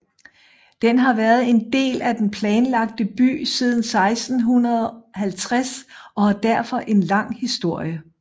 Den har været en del af den planlagte by siden 1650 og har derfor en lang historie